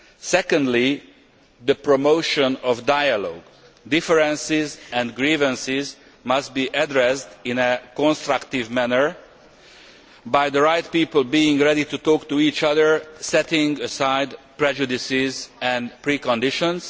secondly, the promotion of dialogue differences and grievances must be addressed in a constructive manner by the right people being ready to talk to each other, setting aside prejudices and preconditions